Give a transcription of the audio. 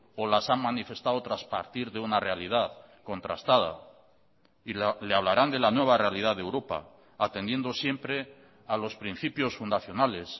o las han manifestado tras partir de una realidad contrastada y le hablarán de la nueva realidad de europa atendiendo siempre a los principios fundacionales